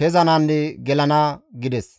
kezananne gelana» gides.